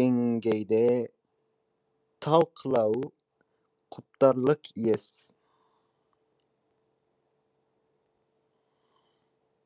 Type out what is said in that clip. деңгейде талқылауы құптарлық ес